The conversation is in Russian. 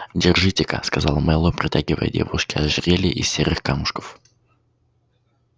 держитека сказал мэллоу протягивая девушке ожерелье из серых камушков